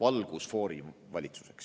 valgusfoorivalitsuseks.